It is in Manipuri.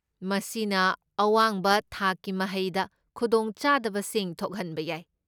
ꯃꯁꯤꯅ ꯑꯋꯥꯡꯕ ꯊꯥꯛꯀꯤ ꯃꯍꯩꯗ ꯈꯨꯗꯣꯡ ꯆꯥꯗꯕꯁꯤꯡ ꯊꯣꯛꯍꯟꯕ ꯌꯥꯏ꯫